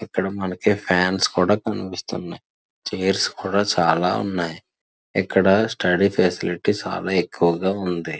ఇక్కడ మనకి ఫాన్స్ కూడా కనిపిస్తున్నాయ్. చైర్స్ కూడా చాలా ఉన్నాయి. ఇక్కడ స్టడీ స్పెషలిటీ చాలా ఎక్కువగా ఉంది.